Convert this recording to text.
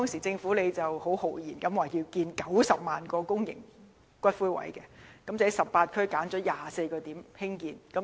政府當時豪言要興建90萬個公營龕位，在18區揀選了24個興建地點。